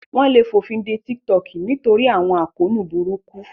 Wọ́n lè fòfinde TikTok nítorí àwọn àkóónú burúkú